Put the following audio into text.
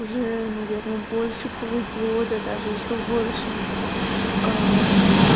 уже наверное больше полугода даже ещё больше